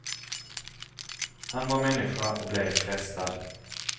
Han var människa och blev frestad.